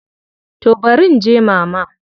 To barin je Mama.